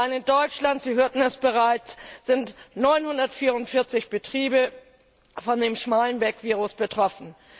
Allein in Deutschland, Sie hörten es bereits, sind 944 Betriebe von dem Schmallenberg Virus betroffen.